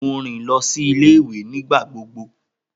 Mo rin si ile-iwe nigbagbogbo.